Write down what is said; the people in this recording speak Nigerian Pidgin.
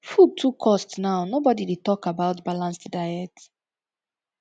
food too cost now nobodi dey tok about balanced diet